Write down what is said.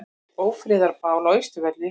Ófriðarbál á Austurvelli